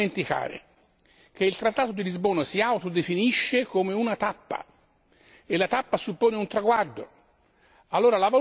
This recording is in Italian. Non bisogna mai dimenticare che il trattato di Lisbona si autodefinisce come una tappa e la tappa suppone un traguardo.